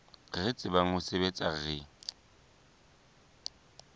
re tsebang ho sebetsa re